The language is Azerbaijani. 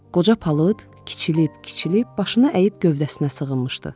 Qoca palıd kiçilib, kiçilib başını əyib gövdəsinə sığınmışdı.